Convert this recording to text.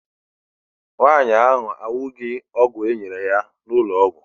Nwaanyị ahụ aṅụghị ọgwụ e nyere ya n'ụlọ ọgwụ.